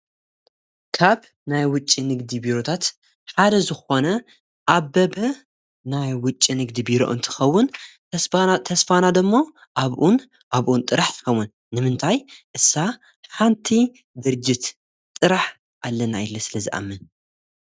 ዩዩዩይይእካብ ናይ ውጭ ንግዲ ቢሩታት ሓደ ዝኾነ ኣበበ ናይ ውጭ ንግዲ ብረዑን ትኸውን ተስፋናዶእሞ ኣብኡን ኣብኡን ጥራሕ ትኸውን ንምንታይ እሳ ሓንቲ ድርጅት ጥራሕ ኣለና የለ ስለ ዝኣምን እይ።